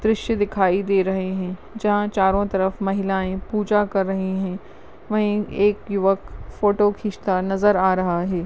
दृश्य दिखाई दे रहे है जहा चारो तरफ महिलाये पूजा कर रही है वही एक युवक फोटो खिंचता नजर आ रहा है।